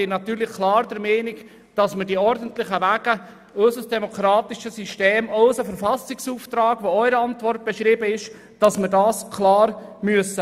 Ich bin natürlich klar der Meinung, dass wir die ordentlichen Wege vereinheitlichen und unser demokratisches System sowie unseren Verfassungsauftrag einhalten müssen.